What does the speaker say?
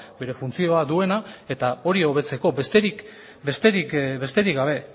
bere funtzioa duena eta hori hobetzeko besterik gabe